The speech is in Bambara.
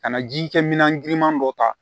Ka na ji kɛ minan giriman dɔ ta